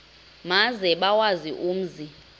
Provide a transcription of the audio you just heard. maze bawazi umzi